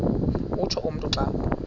utsho umntu xa